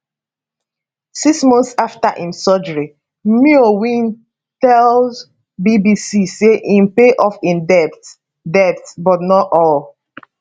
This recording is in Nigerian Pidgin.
six months afta im surgery myo win tell bbc say im pay off im debts debts but not all